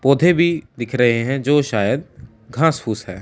पौधे भी दिख रहे हैं जो शायद घास फूस है।